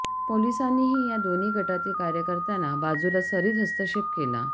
पोलिसानीही या दोनही गटातील कार्यकर्त्यांना बाजूला सरीत हस्तक्षेप केला